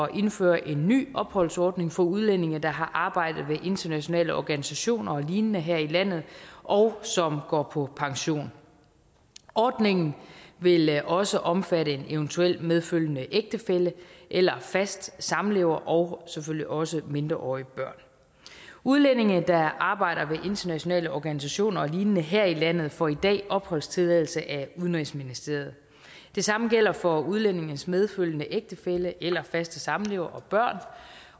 indføre en ny opholdsordning for udlændinge der har arbejdet ved internationale organisationer og lignende her i landet og som går på pension ordningen vil også omfatte en eventuel medfølgende ægtefælle eller fast samlever og selvfølgelig også mindreårige børn udlændinge der arbejder ved internationale organisationer og lignende her i landet får i dag opholdstilladelse af udenrigsministeriet det samme gælder for udlændingens medfølgende ægtefælle eller faste samlever og børn